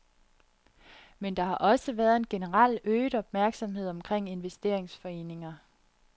Men der har også været en generel øget opmærksomhed omkring investeringsforeninger.